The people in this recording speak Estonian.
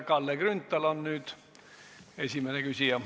Kalle Grünthal on nüüd esimene küsija.